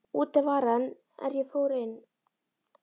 Úti var hann er ég fór inn.